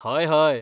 हय, हय.